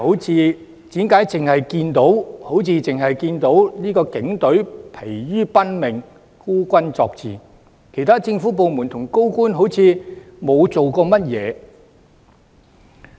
此外，為何好像只看到警隊疲於奔命、孤軍作戰，而其他政府部門和高官則看似沒有做到甚麼？